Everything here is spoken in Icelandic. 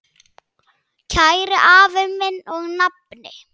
Kæri afi minn og nafni.